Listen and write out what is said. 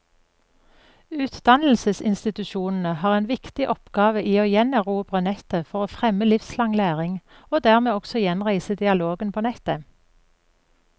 Utdannelsesinstitusjonene har en viktig oppgave i å gjenerobre nettet for å fremme livslang læring, og dermed også gjenreise dialogen på nettet.